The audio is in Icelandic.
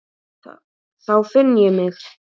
Þá finn ég mig.